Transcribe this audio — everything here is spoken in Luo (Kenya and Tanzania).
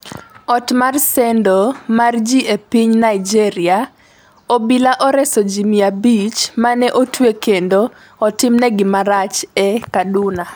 Ot mar sendo mar ji e piny Naijeria: Obila oreso ji mia abich mane otwe kendo otimnegi marach e Kaduna